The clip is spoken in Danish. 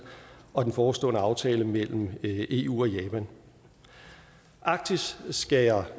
og den forestående aftale mellem eu og japan arktis skal jeg